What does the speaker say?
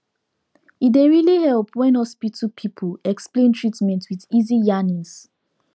e dey really help when hospital people explain treatment with easy yarnings